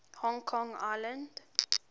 hong kong island